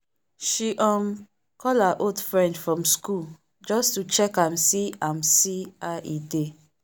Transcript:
she um call her old friend from school just to check am see am see how e dey.